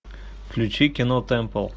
включи кино темпл